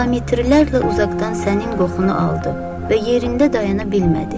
Kilometrlərlə uzaqdan sənin qoxunu aldı və yerində dayana bilmədi.